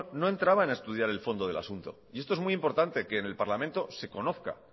no entraban a estudiar el fondo del asunto y esto es muy importante que en el parlamento se conozca